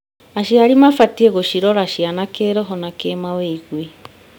Aciari mabatiĩ gũcirora ciana kĩrho na kĩmawĩgwi.